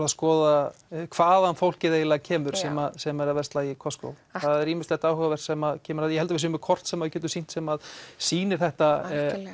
að skoða hvaðan fólkið eiginlega kemur sem sem er að versla í Costco það er ýmislegt áhugavert sem kemur fram þar ég held við séum með kort sem sýnir sem sýnir þetta